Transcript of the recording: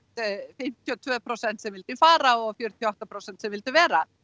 fimmtíu og tvö prósent sem vildu fara og fjörutíu og átta prósent sem vildu vera